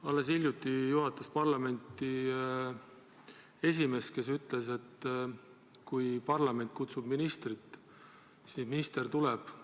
Alles hiljuti juhatas parlamenti esimees, kes ütles, et kui parlament kutsub ministrit, siis minister tuleb.